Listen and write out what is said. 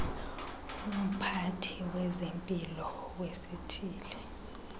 umphathi wezempilo wesithili